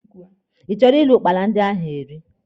Ị chọrọ iri ụkpala ndị ahụ eri?